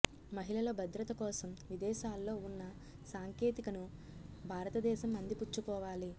మహిళల భద్రత కోసం విదేశాల్లో ఉన్న సాంకేతికను భారతదేశం అందిపుచ్చుకోవాలి